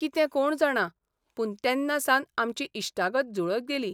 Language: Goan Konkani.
कितें कोण जाणा, पूण तेन्नासावन आमची इश्टागत जुळत गेली.